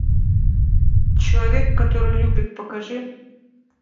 человек который любит покажи